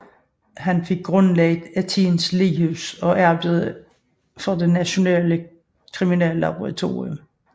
Han fik grundlagt Athens lighus og arbejdede for det nationale kriminallaboratorium